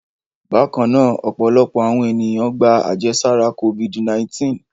Bákan náà, ọ̀pọ̀lọpọ̀ àwọn ènìyàn gba àjẹsára Covid-19.